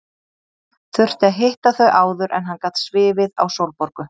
Þurfti að hitta þau áður en hann gat svifið á Sólborgu.